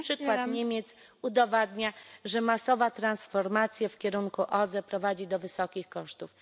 Przykład Niemiec udowadnia, że masowa transformacja w kierunku OZE prowadzi do wysokich kosztów.